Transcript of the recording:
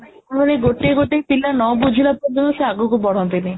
ମାନେ ଗୋଟେ ଗୋଟେ ପିଲା ନ ବୁଝିବା ପୂର୍ବରୁ ସେ ଆଗକୁ ବଢନ୍ତି ନି